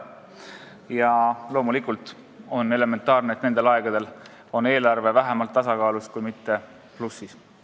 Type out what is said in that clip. Ja loomulikult on elementaarne, et nendel aegadel on eelarve vähemalt tasakaalus, kui mitte plussis.